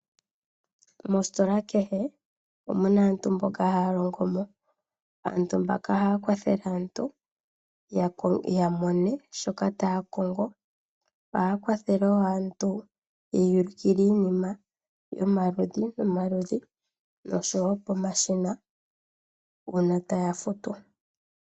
Mositola kehe omu na aantu mboka haya longo mo. Aantu mbaka ohaya kwathele aantu ya mone shoka taya kongo. Ohaya kwathele wo aantu ye ya ulukile iinima yomaludhi nomaludhi nosho wo pomashina uuna taya futu.